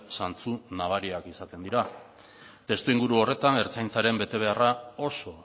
zantzu nabariak izatean dira testuinguru horretan ertzaintzaren betebeharra oso